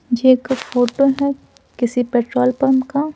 यह एक फोटो है किसी पेट्रोल पंप का।